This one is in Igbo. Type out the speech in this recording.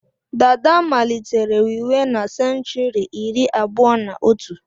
Dàdá malitere wiwe na senchuri iri abụọ na otù.